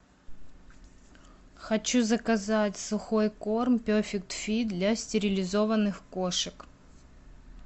хочу заказать сухой корм перфект фит для стерилизованных кошек